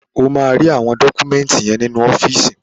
Ó máa rí àwọn dọ́kúmẹ́ńtì yẹn nínú ọ́fíìsì.